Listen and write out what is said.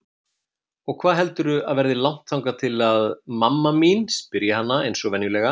Og hvað heldurðu að verði langt þangað til mamma mín, spyr ég hana einsog venjulega.